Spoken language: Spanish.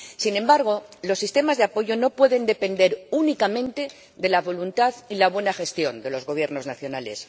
Sin embargo, los sistemas de apoyo no pueden depender únicamente de la voluntad y la buena gestión de los Gobiernos nacionales.